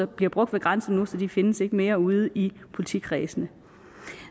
bliver brugt ved grænsen nu så de findes ikke mere ude i politikredsene